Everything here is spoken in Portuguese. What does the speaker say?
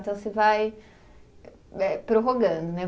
Então, você vai, eh, prorrogando, né?